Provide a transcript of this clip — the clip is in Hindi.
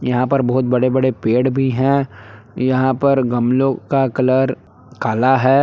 यहा पर बहुत बड़े बड़े पेड़ भी है। यहा पर गमलो का कलर काला है।